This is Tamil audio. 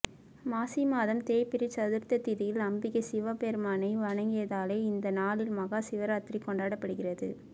மாசிமாதம் தேய்பிறைச் சதுர்த்தசி திதியில் அம்பிகை சிவபெருமானை வணங்கியதாலேயே இந்த நாளில் மகா சிவராத்திரி கொண்டாடப்படுகிறது